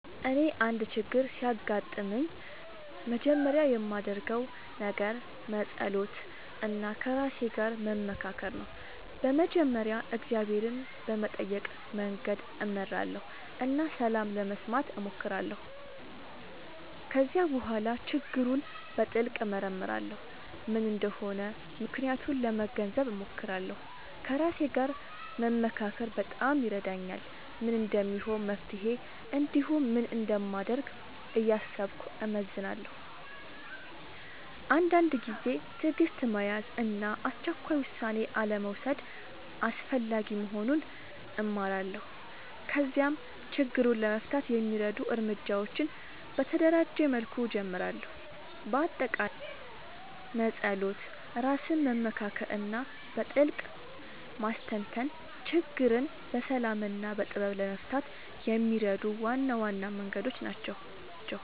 እኔ አንድ ችግር ሲያጋጥምኝ መጀመሪያ የማደርገው ነገር መጸሎት እና ከራሴ ጋር መመካከር ነው። በመጀመሪያ እግዚአብሔርን በመጠየቅ መንገድ እመራለሁ እና ሰላም ለመስማት እሞክራለሁ። ከዚያ በኋላ ችግሩን በጥልቅ እመርመራለሁ፤ ምን እንደሆነ ምክንያቱን ለመገንዘብ እሞክራለሁ። ከራሴ ጋር መመካከር በጣም ይረዳኛል፤ ምን እንደሚሆን መፍትሄ እንዲሁም ምን እንደማደርግ እያሰብኩ እመዝናለሁ። አንዳንድ ጊዜ ትዕግሥት መያዝ እና አስቸኳይ ውሳኔ አልመውሰድ አስፈላጊ መሆኑን እማራለሁ። ከዚያም ችግሩን ለመፍታት የሚረዱ እርምጃዎችን በተደራጀ መልኩ እጀምራለሁ። በአጠቃላይ መጸሎት፣ ራስን መመካከር እና በጥልቅ ማስተንተን ችግርን በሰላም እና በጥበብ ለመፍታት የሚረዱ ዋና ዋና መንገዶች ናቸው።